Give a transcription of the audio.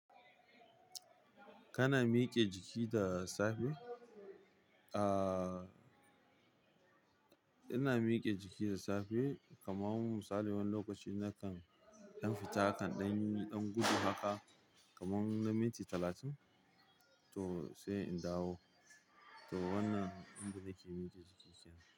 Kana mike jiki da safe? Aa, ina mike jiki da safe kaman misali wani lokaci na kan in fita akan ɗan, ɗan gudu haka kaman na minti talatin to sai in dawo. To wannan inda nake mike jikina.